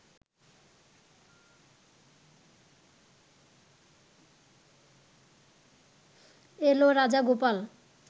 এল Rajagopal